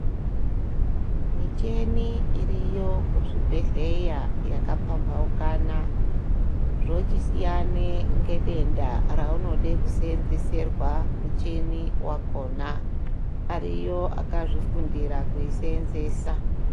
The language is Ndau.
Micheni iriyo kuzvibhedhleya yaka pambahukana zvochisiyane ngedenda raunode kuseenzeserwa mucheni wakhona ariyo aka zvifundira kuyiseenzesa.